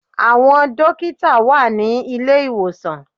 Àwọn dókítà wà ní ilé-ìwòsàn